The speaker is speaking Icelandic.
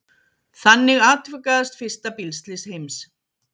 Þannig atvikaðist fyrsta bílslys heims.